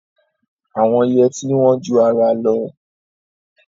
Àwọn yẹtí wọ́n ju ara lọ.